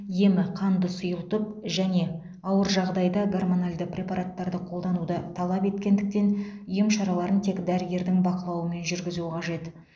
емі қанды сұйылтып және ауыр жағдайда гормоналды препараттарды қолдануды талап еткендіктен ем шараларын тек дәрігердің бақылауымен жүргізу қажет